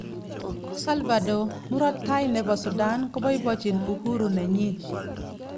Salvador:Murot tai nepo sudan kopapaichi uhuru nenyin